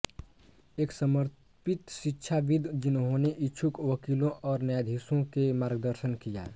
एक समर्पित शिक्षाविद् जिन्होंने इच्छुक वकीलों और न्यायाधीशों के मार्गदर्शन किया